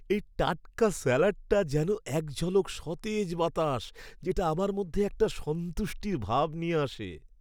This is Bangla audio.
এই টাটকা স্যালাডটা যেন এক ঝলক সতেজ বাতাস, যেটা আমার মধ্যে একটা সন্তুষ্টির ভাব নিয়ে আসে।